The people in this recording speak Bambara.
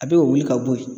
A bɛ wuli ka bɔ yen